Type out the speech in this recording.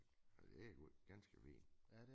Ja det ganske fint